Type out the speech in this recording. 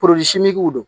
don